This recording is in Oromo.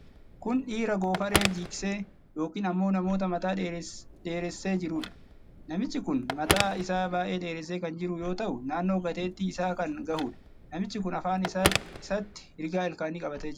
Kun dhiira goofaree jiksee yookiin ammoo nama mataa dheeressee jirudha. Namichi kun mataa isaa baay'ee dheeressee kan jiru yoo ta'u, naannoo gateetti isaa kan gahudha. Namichi kun afaan isaatti rigaa ilkaanii qabatee jira.